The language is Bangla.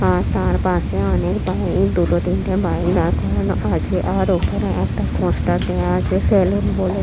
আর তার পাশে অনেক বাইক দুটো তিনটে বাইক দাঁড় করানো আছে ওপরে একটা পোস্টার দেওয়া আছে সেলুন বলে --